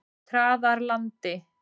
Traðarlandi